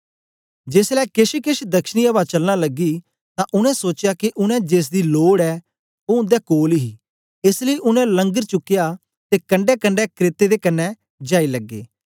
जेसलै केछकेछ दक्षिणी अवा चलना लगी तां उनै सोचया के उनै जेसदी लोड़ ऐ ओ उनै कोल ही एस लेई उनै लंगर चुकया ते कंडैकंडै क्रेते दे कन्ने जाई लगे